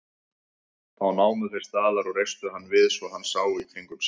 Þá námu þeir staðar og reistu hann við svo hann sá í kringum sig.